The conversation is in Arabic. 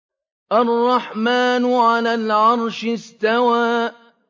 الرَّحْمَٰنُ عَلَى الْعَرْشِ اسْتَوَىٰ